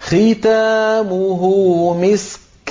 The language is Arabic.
خِتَامُهُ مِسْكٌ ۚ